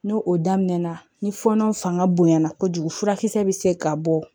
N'o o daminɛ na ni fɔɔnɔ fanga bonyana kojugu furakisɛ bɛ se ka bɔ